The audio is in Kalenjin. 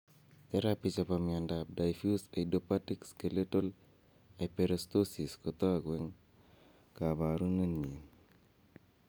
Theraphy chepo miondap diffuse idiopathic skeletal hyperostosis kotogu en koporunenyin.